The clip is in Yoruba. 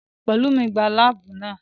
Pelumi gbá láàbù náà